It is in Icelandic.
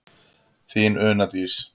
Þín Una Dís.